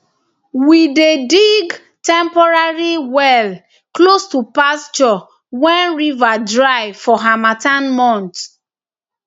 we dey dig temporary well close to pasture when river dry for harmattan months